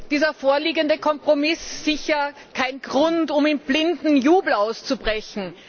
Dieser vorliegende Kompromiss ist sicher kein Grund, um in blinden Jubel auszubrechen.